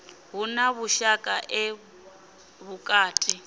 hu na vhushaka ḓe vhukati